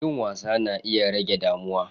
Yin wasa yana iya rage damuwa.